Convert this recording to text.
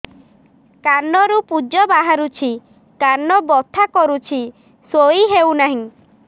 କାନ ରୁ ପୂଜ ବାହାରୁଛି କାନ ବଥା କରୁଛି ଶୋଇ ହେଉନାହିଁ